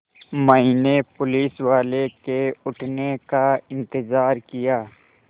मैंने पुलिसवाले के उठने का इन्तज़ार किया